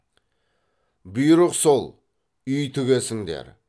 бұйрық сол үй тігесіңдер